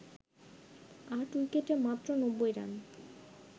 ৮ উইকেটে মাত্র ৯০ রান